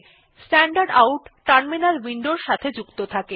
standard out terminal উইন্ডোর সাথে সংযুক্ত থাকে